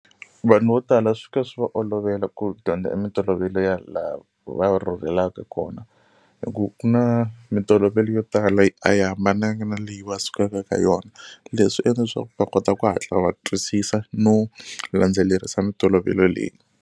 Vanhu vo tala swi ka swi va olovela ku dyondza mintolovelo ya laha va rhurhelaka kona hi ku ku na mintolovelo yo tala yi a yi hambananga na leyi va sukaka ka yona leswi endla leswaku va kota ku hatla va twisisa no landzelerisa mintolovelo leyi.